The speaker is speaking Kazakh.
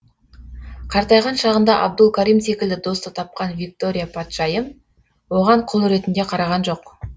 қартайған шағында абдул карим секілді досты тапқан виктория патшайым оған құл ретінде қараған жоқ